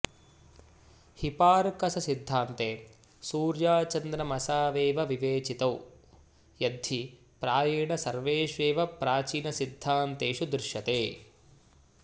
हिपार्कससिद्धान्ते सूर्याचन्द्रमसावेव विवेचितौ यद्धि प्रायेण सर्वेष्वेव प्राचीनसिद्धान्तेषु दृश्यते